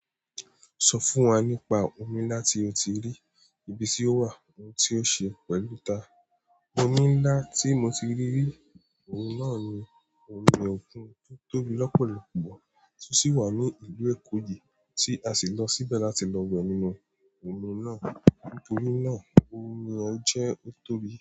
Sọ fún wa nípa omi ńlá tí o ti rí, ibi tí ó wà, ohun tí ó ṣe pẹ̀lú ta òmi ńlá tí mo ti rí rí, ohun náà ni omi òkun tó tóbi lọ́pọ̀lọpọ̀ tó sì wà ní ìlú Èkòì tí a sì lọ síbẹ̀ láti lọ wẹ nínú omi náà. Nítorí náà omi ọ̀ jẹ́ ó tóbi.